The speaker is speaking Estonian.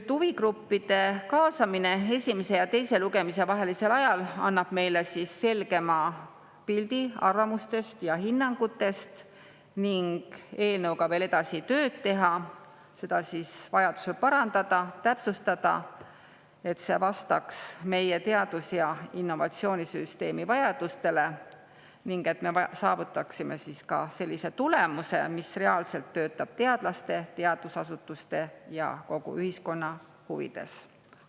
Huvigruppide kaasamine esimese ja teise lugemise vahelisel ajal annab meile selgema pildi arvamustest ja hinnangutest ning eelnõuga tööd edasi teha, seda vajadusel parandada ja täpsustada, et see vastaks meie teadus- ja innovatsioonisüsteemi vajadustele ning et me saavutaksime sellise tulemuse, mis reaalselt töötab teadlaste, teadusasutuste ja kogu ühiskonna huvides.